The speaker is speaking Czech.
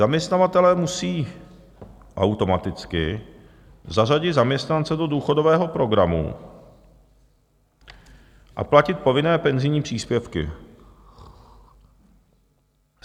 Zaměstnavatelé musí automaticky zařadit zaměstnance do důchodového programu a platit povinné penzijní příspěvky.